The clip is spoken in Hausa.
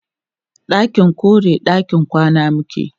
ɗakin koren ɗakin kwana muke